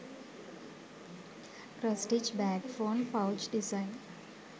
cross stich bag phone pouch design